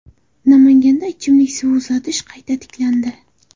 Namanganda ichimlik suvi uzatish qayta tiklandi.